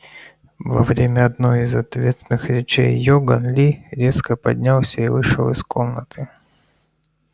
во время одной из ответных речей иоганн ли резко поднялся и вышел из комнаты